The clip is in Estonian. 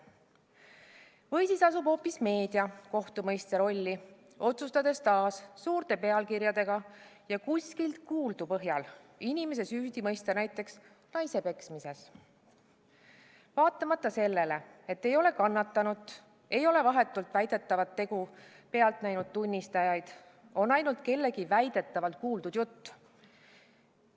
Või asub hoopis meedia kohtumõistja rolli, otsustades taas suurte pealkirjadega ja kuskilt kuuldu põhjal inimese süüdi mõista, näiteks naise peksmises, vaatamata sellele, et ei ole kannatanut ega väidetavat tegu vahetult pealt näinud tunnistajaid, on ainult kellegi väidetavalt kuuldud jutt.